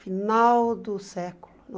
Final do século